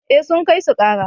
eh sun kai su kara